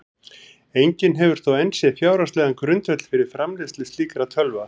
Enginn hefur þó enn séð fjárhagslegan grundvöll fyrir framleiðslu slíkra tölva.